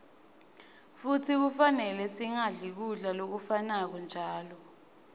futsi kufanele singadli kudla lokufanako njalo